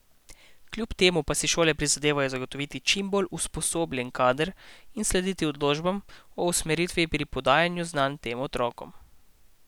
Kljub temu pa si šole prizadevajo zagotoviti čim bolj usposobljen kader in slediti odločbam o usmeritvi pri podajanju znanj tem otrokom.